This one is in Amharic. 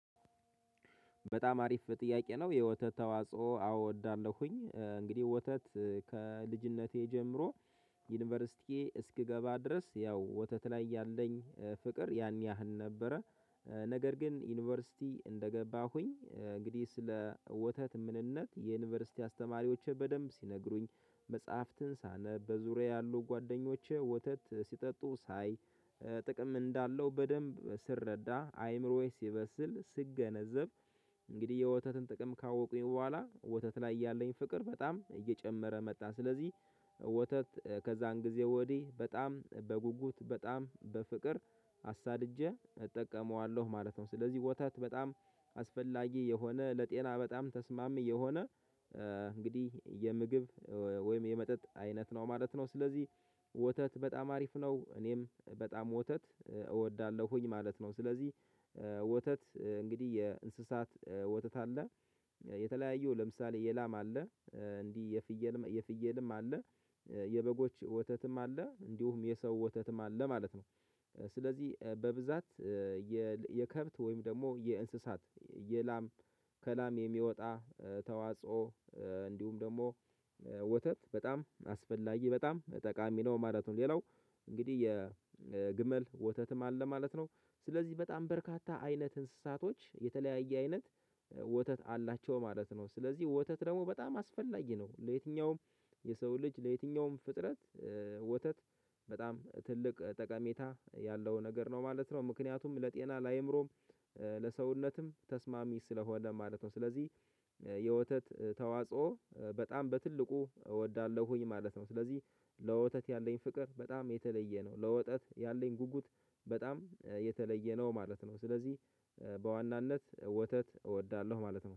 በጣም አሪፍ ጥያቄ ነው? የወተት ተዋጽኦ አዎ እዳለሁኝ እንግዲህ ወተት ከልጅነቴ ጀምሮ ዩኒቨርሲቲ እስክገባ ድረስ ያው ወተት ላይ ያለኝ ፍቅር ያን ያህል ነበረ ነገር ግን ዩኒቨርሲቲ እንደገባሁኝ እንግዲህ ስለ ወተት ምንነት የዩኒቨርሲቲ አስተማሪዎች በደንብ ሲነግሩኝ መጽሐፍትን ሳነብ በዙሪያዬ ያሉ ጓደኞቼ ወተት ሲጠጡ ሳይ ጥቅም እንዳለው በደንብ ስረዳ አይምሮዬ ሲበስል ስገነዘብ እንግዲህ የወተትን ጥቅም ካወቁኝ በኋላ ወተት ላይ ያለኝ ፍቅር በጣም እየጨመረ መጣ ስለዚህ ወተት ከዛን ጊዜ ወዲህ በጣም በጉጉት በጣም በፍቅር አሳድጄ እጠቀመዋለሁ ማለት ነው። ስለዚህ ወታት በጣም አስፈላጊ የሆነ ለጤና በጣም ተስማሚ የሆነ እንግዲህ የምግብ ወይም የመጠጥ አይነት ነው ማለት ነው ስለዚህ ወተት በጣም አሪፍ ነው እኔም በጣም ወተት እወዳለሁኝ ማለት ነው። ስለዚህ ወተት እንግዲህ የእንስሳት ወተት አለ የተለያየው ለምሳሌ የላማ አለ እንዲህ የፍየልም የፍየልም አለ የበጎች ወተትም አለ እንዲሁም የሰው ወተትም አለ ማለት ነው። ስለዚህ በብዛት የከብት ወይም ደግሞ የእንስሳት የላም ከላም የሚወጣ ተዋጽኦ እንዲሁም ደግሞ ወተት በጣም አስፈላጊ በጣም ጠቃሚ ነው ማለት ነው። ሌላው እንግዲህ የግመል ወተትም አለ ማለት ነው ስለዚህ በጣም በርካታ አይነት እንስሳቶች የተለያየ አይነት ወተት አላቸው ማለት ነው። ስለዚህ ወተት ደግሞ በጣም አስፈላጊ ነው ለየትኛውም የሰው ልጅ ለየትኛውም ፍጥረት ወተት በጣም ትልቅ ጠቀሜታ ያለው ነገር ነው ማለት ነው። ምክንያቱም ለጤና ለአይምሮም ለሰውነትም ተስማሚ ስለሆነ ማለት ነው። ስለዚህ የወተት ተዋጽኦ በጣም በትልቁ እወዳለሁኝ ማለት ነው። ስለዚህ ለወተት ያለኝ ፍቅር በጣም የተለየ ነው ለወተት ያለኝ ጉጉት በጣም የተለየ ነው ማለት ነው። ስለዚህ በዋናነት ወተት እወዳለሁ ማለት ነው